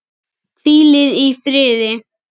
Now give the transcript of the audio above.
Hvílið í friði.